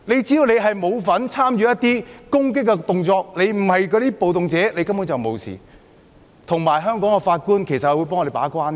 只要示威者沒有參與攻擊，不是暴動者，根本沒有問題，而且香港法官會把關。